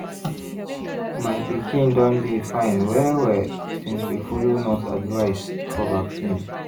my pikin don dey fine well-well since we follow nurse advice for vaccine.